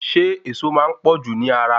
Ṣé ẹ̀ẹ̀so máa n pọ̀jù ni ara?